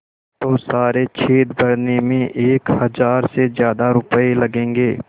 तो सारे छेद भरने में एक हज़ार से ज़्यादा रुपये लगेंगे